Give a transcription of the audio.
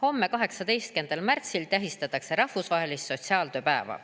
Homme, 18. märtsil tähistatakse rahvusvahelist sotsiaaltööpäeva.